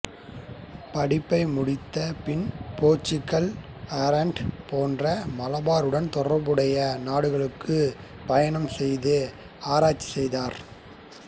படிப்பை முடித்த பின் போா்ச்சுகல்ஆரெண்ட் போன்ற மலபாருடன் தொடா்புடைய நாடுகளுக்கும் பயணம் செய்து ஆராய்ச்சி செய்தாா்